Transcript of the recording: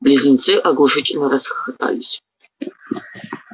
близнецы оглушительно расхохотались